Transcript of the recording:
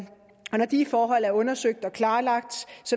de forhold er undersøgt og klarlagt